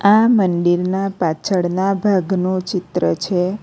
આ મંદિરના પાછળના ભાગનો ચિત્ર છે.